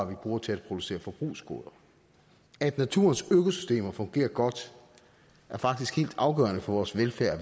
vi bruger til at producere forbrugsgoder at naturens økosystemer fungerer godt er faktisk helt afgørende for vores velfærd